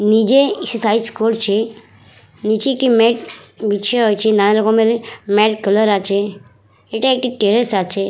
নিজে এক্সারসাইজ করছে নিচে একটি মেট বিছা আছে নানা রকমের মেট কালার আছে এটা একটা টেরাস আছে ।